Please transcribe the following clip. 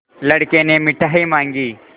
लड़के ने मिठाई मॉँगी